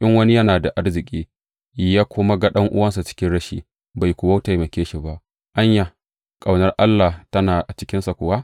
In wani yana da arziki, ya kuma ga ɗan’uwansa cikin rashi, bai kuwa taimake shi ba, anya, ƙaunar Allah tana a cikinsa kuwa?